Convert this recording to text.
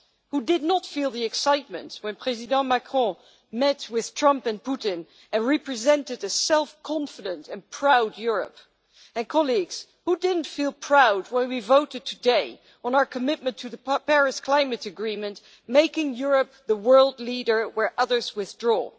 Who did not feel the excitement when President Macron met with Trump and Putin and represented a self confident and proud Europe? And colleagues, who did not feel proud when we voted today on our commitment to the Paris climate agreement, making Europe the world leader where others withdraw?